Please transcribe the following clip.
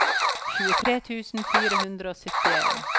tjuetre tusen fire hundre og syttien